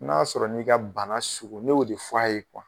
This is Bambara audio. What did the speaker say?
N'a sɔrɔ n'i ka bana sugu ne y'o de f'a ye